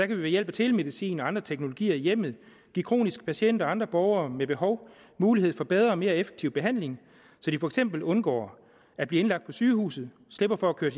vi ved hjælp af telemedicin og andre teknologier i hjemmet give kroniske patienter og andre borgere med behov mulighed for bedre og mere effektiv behandling så de for eksempel undgår at blive indlagt på sygehuset slipper for at blive